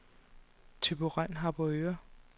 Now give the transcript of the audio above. Thyborøn-Harboøre